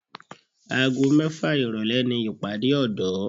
Aago mẹ́fà ìrọ̀lẹ́ ni ìpàdé ọ̀dọ́